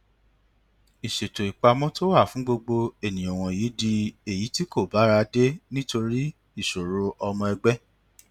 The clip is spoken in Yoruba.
ìṣètò ìpamọ tó wà fún gbogbo ènìyàn wọnyí di èyí tí kò bára dé nítorí ìṣòro ọmọ ẹgbẹ